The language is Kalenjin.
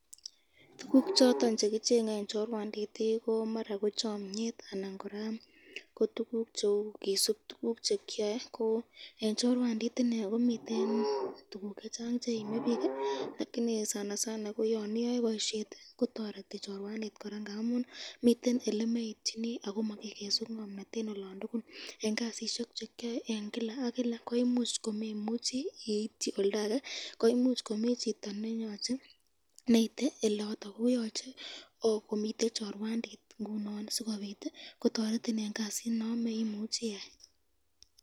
Tukuk choton chekichenge eng chorwanditi, ko chamyet anan koraa ko tukuk cheu kisub tukuk chekyae ,eng chorwandit inee komiten tukuk chechang cheimebik, lakini ko yan iyoe boisyeti kotareti chorwandit ngamun miten elemeityini ako makikesu ngomnat eng olon tukul eng kasisyek chekyoe eng Kila ak Kila, koimuch komemuchi iityi oldage konyalu komi chito neite oloton , koyache komiten chorwandit sikobit kotoretin eng kasit nondon.